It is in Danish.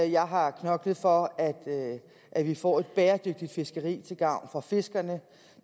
jeg har knoklet for at vi får et bæredygtigt fiskeri til gavn for fiskerne